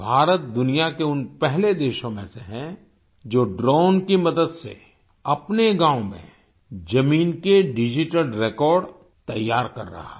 भारत दुनिया के उन पहले देशों में से है जो ड्रोन की मदद से अपने गाँव में जमीन के डिजिटल रेकॉर्ड तैयार कर रहा है